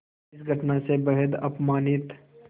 इस घटना से बेहद अपमानित